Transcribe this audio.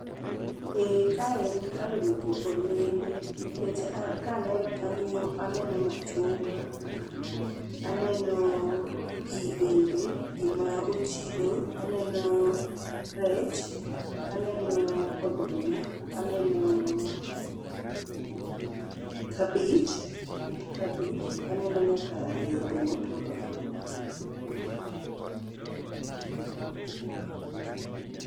Ee kae en kar wito olembe nikech ka aneno to aneno machungwa, aneno pi bende, pi ma ochido, aneno rech, aneno oduma, aneno kabich, it kabich ,aneno nyaka yedhe ma otur otur.